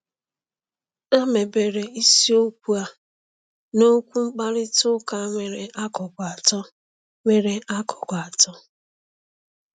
A mebere isiokwu a n’okwu mkparịta ụka nwere akụkụ atọ. nwere akụkụ atọ.